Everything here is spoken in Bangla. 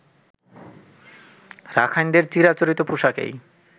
রাখাইনদের চিরাচরিত পোশাকেই